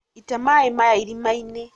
ita maĩ maya irima-inĩ